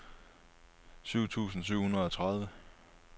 syv tusind syv hundrede og tredive